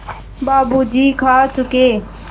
बाबू जी खा चुके